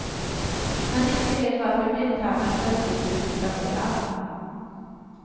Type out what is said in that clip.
Men ingen vet varför blindtarmen plötsligt blir inflammerad.